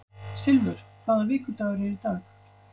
Silfur, hvaða vikudagur er í dag?